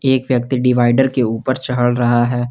एक व्यक्ति डिवाइडर के ऊपर चढ़ रहा है।